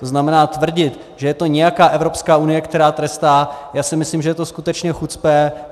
To znamená, tvrdit, že to je nějaká Evropská unie, která trestá, já si myslím, že je to skutečně chucpe.